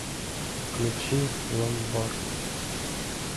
включи ломбард